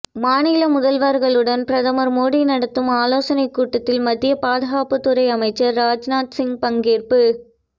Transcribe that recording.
மாநில முதல்வர்களுடன் பிரதமர் மோடி நடத்தும் ஆலோசனைக் கூட்டத்தில் மத்திய பாதுகாப்புத் துறை அமைச்சர் ராஜ்நாத் சிங் பங்கேற்பு